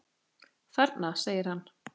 Þarna! segir hann.